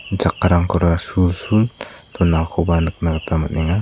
chakkarangkora sul sul donakoba nikna gita man·enga.